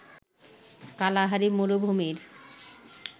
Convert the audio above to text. Kalahari মরুভূমির